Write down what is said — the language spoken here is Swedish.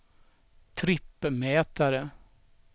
trippmätare